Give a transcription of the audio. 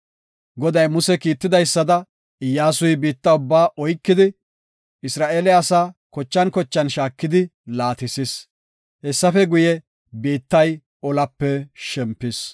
Goday Muse kiitidaysada Iyyasuy biitta ubbaa oykidi, Isra7eele asaa kochan kochan shaakidi laatisis. Hessafe guye, biittay olape shempis.